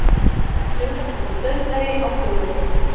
Dularfullur dauðdagi á flugvelli